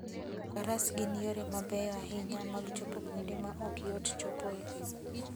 Faras gin yore mabeyo ahinya mag chopo kuonde ma ok yot chopoe.